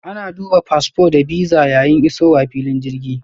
Ana duba fasfo da bisa yayin isowa filin jirgi.